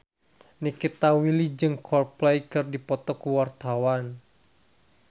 Nikita Willy jeung Coldplay keur dipoto ku wartawan